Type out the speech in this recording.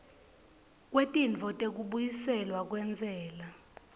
kwetintfo tekubuyiselwa kwentsela